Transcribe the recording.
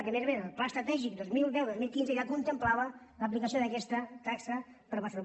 i a més a més el pla estratègic dos mil deu dos mil quinze ja contemplava l’aplicació d’aquesta taxa per a barcelona